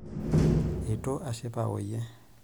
Eitu ashipa oyie.